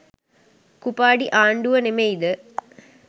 කුපාඩි ආණ්ඩුව නෙමෙයිද